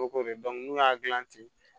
Ko de n'u y'a dilan ten